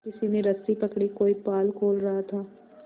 किसी ने रस्सी पकड़ी कोई पाल खोल रहा था